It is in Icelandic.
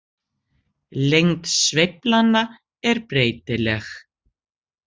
Lengd sveiflanna er breytileg.